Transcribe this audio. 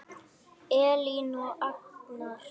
Elín og Agnar.